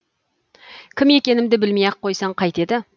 кім екенімді білмей ақ қойсаң қайтеді